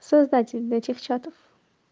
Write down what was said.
создатель этих чатов